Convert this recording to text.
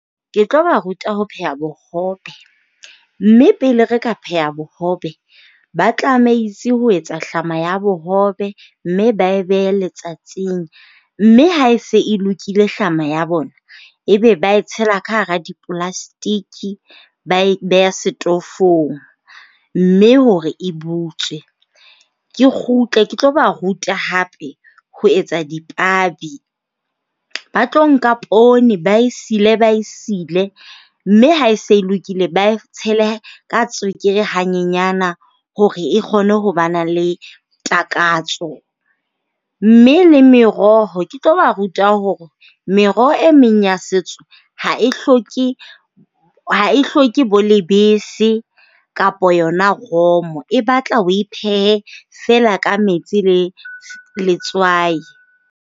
Ke tlo ba ruta ho pheha bohobe. Mme pele re ka pheha bohobe ba tlameitse ho etsa hlama ya bohobe, mme ba e behe letsatsing. Mme ha e se e lokile hlama ya bona, ebe ba e tshela ka hara di-plastic-i ba e beha setofong mme hore e butswe. Ke kgutle ke tlo ba ruta hape ho etsa dipabi. Ba tlo nka poone ba e sile ba e sile mme ha e se e lokile ba e tshele ka tswekere hanyenyana hore e kgone ho ba na le takatso. Mme le meroho, ke tlo ba ruta hore meroho e meng ya setso ha e hloke, ha e hloke bo lebese kapa yona romo. E batla oe phehe feela ka metsi le letswai.